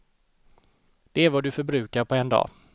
Det är vad du förbrukar på en dag.